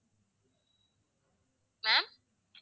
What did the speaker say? ma'am